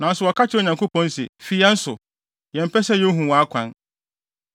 Nanso wɔka kyerɛ Onyankopɔn se, ‘Fi yɛn so! Yɛmpɛ sɛ yehu wʼakwan.